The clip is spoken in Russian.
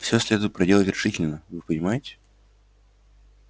всё следует проделать решительно вы понимаете